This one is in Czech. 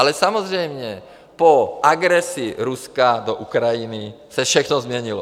Ale samozřejmě po agresi Ruska do Ukrajiny se všechno změnilo.